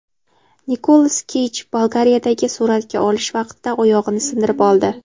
Nikolas Keyj Bolgariyadagi suratga olish vaqtida oyog‘ini sindirib oldi.